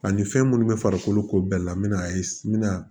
Ani fɛn munnu be farikolo ko bɛɛ la mi na ye n mi na